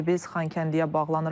İndi biz Xankəndiyə bağlanırıq.